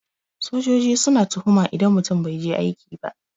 Sojoji suna tuhuma idan mutum bai je aiki ba.